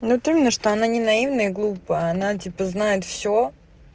вот именно что она не наивная и глупая она типа знает всё